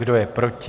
Kdo je proti?